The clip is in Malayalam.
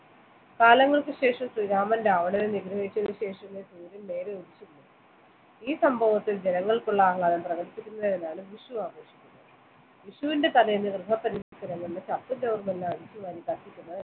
കാലങ്ങൾക്ക് ശേഷം ശ്രീരാമൻ രാവണനെ നിഗ്രഹിച്ചതിനു ശേഷം ഈ സംഭവത്തിൽ ജനങ്ങൾക്കുള്ള ആഹ്ലാദം പ്രകടിപ്പിക്കുന്നതിനാണ് വിഷു ആഘോഷിക്കുന്നത് വിഷുവിന്റെ തലേദിവസം ഗൃഹപരിസരങ്ങളിലെ ചപ്പും ചവറും എല്ലാം അടിച്ചുവരി കത്തിക്കുന്നത്